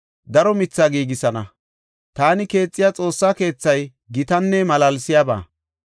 daro mithaa giigisana. Taani keexiya Xoossaa keethay gitanne malaalsiyaba.